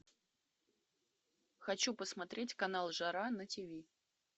хочу посмотреть канал жара на тиви